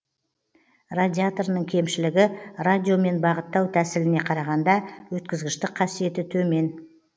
радиоторының кемшілігі радиомен бағыттау тәсіліне қарағанда өткізгіштік қасиеті төмен